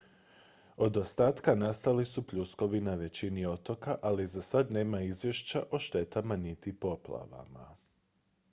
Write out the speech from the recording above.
od ostataka nastali su pljuskovi na većini otoka ali za sad nema izvješća o štetama niti poplavama